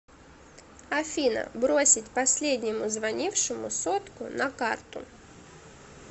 афина бросить последнему звонившему сотку на карту